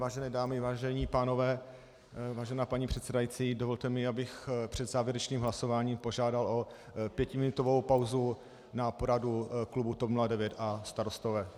Vážené dámy, vážení pánové, vážená paní předsedající, dovolte mi, abych před závěrečným hlasováním požádal o pětiminutovou pauzu na poradu klubu TOP 09 a Starostové.